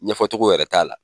Ɲɛfɔ cogo yɛrɛ t'a la.